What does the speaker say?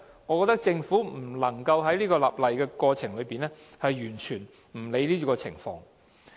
我認為政府在立例的過程中，不能完全不理會這些情況。